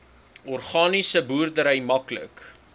organiese boerdery maklik